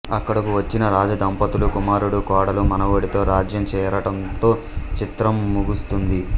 అక్కడకు వచ్చిన రాజదంపతులు కుమారుడు కోడలు మనవడితో రాజ్యం చేరటంతో చిత్రం ముగుస్తుంది